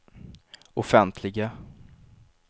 offentliga